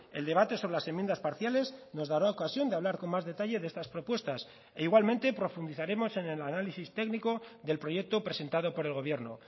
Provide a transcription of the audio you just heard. el debate sobre las enmiendas parciales nos dará ocasión de hablar con más detalle de estas propuestas e igualmente profundizaremos en el análisis técnico del proyecto presentado por el gobierno